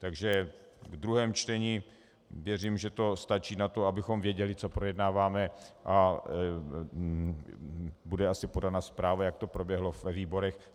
Takže v druhém čtení věřím, že to stačí na to, abychom věděli, co projednáváme, a bude asi podána zpráva, jak to proběhlo ve výborech.